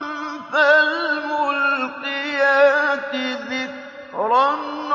فَالْمُلْقِيَاتِ ذِكْرًا